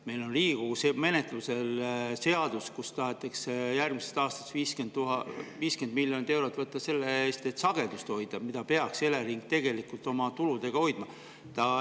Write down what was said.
Meil on Riigikogus menetluses seadus, kus tahetakse järgmisest aastast 50 miljonit eurot võtta selle eest, et sagedust hoida, mida peaks Elering tegelikult oma tulude abil hoidma.